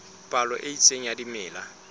palo e itseng ya dimela